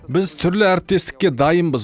біз түрлі әріптестікке дайынбыз